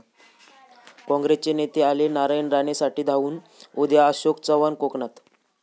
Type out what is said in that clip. काँग्रेसचे नेते आले नारायण राणेंसाठी धावून, उद्या अशोक चव्हाण कोकणात!